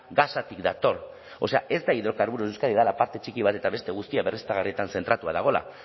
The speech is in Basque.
gasatik dator o sea ez da hidrocarburos de euskadi dela parte txiki bat eta beste guztia berriztagarrietan zentratua dagoela